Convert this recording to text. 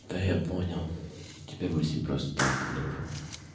да я понял теперь мы с ним просто так дружим